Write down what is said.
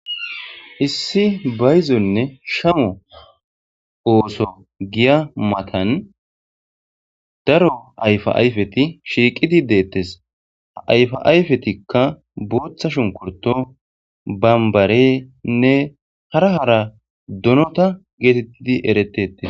Issi bayixonne shammo ooththo hiya matani daro ayifa syifeti shiqidi deteesi ha ayifa ayifetikka boththa shunikiritto bamibarenne hara hara donota getetidi eretesi